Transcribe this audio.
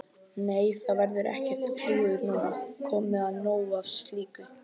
Nei, það verður ekkert klúður núna, komið nóg af slíku.